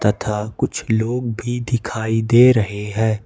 तथा कुछ लोग भी दिखाई दे रहे है।